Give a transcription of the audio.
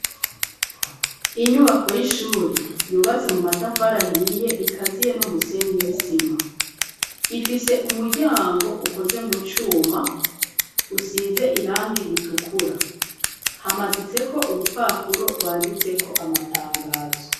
Inyubako y'ishuri yubatse mu matafari ahiye ikaziye n'umusenyi n'isima ifise umuryango ukoze mu cuma usize irangi ritukura, hamaditse ko urupapuro rwanditse ko amatangazo.